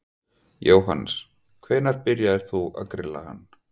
Jóhannes: Hvenær byrjaðir þú að grilla hann?